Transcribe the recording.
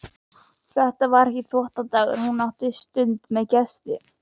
Þetta var ekki þvottadagur og hún átti stund með gesti.